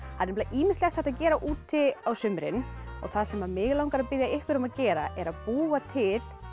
nefnilega ýmislegt hægt að gera úti á sumrin og það sem mig langar að biðja ykkur um að gera er að búa til